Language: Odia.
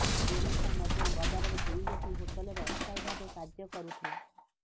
ବେନିତା ମଧ୍ୟ ବଜାରରେ ଦୁଇଗୋଟି ହୋଟେଲରେ ଅସ୍ଥାୟୀ ଭାବେ କାର୍ଯ୍ୟ କରୁଥିଲା